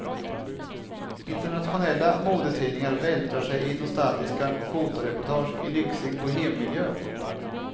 Internationella modetidningar vältrar sig i nostalgiska fotoreportage i lyxig bohemmiljö.